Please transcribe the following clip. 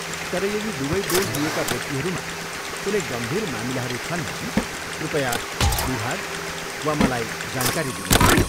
तर यदि दुबै डोज लिएका व्यक्तिहरूमा कुनै गम्भीर मामिलाहरू छन् भने कृपया विभाग वा मलाई जानकारी दिनुहोला।